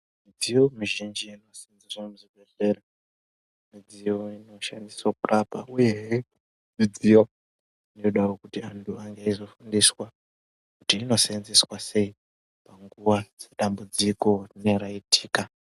Midziyo mizhinji inoseenzeswa muzvibhedhlera, midziyo inoseenzeswa kurapa uyehe midziyo inoda kuti antu ange eizofundiswa kuti inoseenzeswa sei panguva dzedambudziko rinenge raitika.